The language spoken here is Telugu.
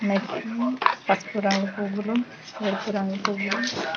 ఇంకెక్కడా పసుపు రంగు పూవులు ఎరుపు రంగు పూవులు.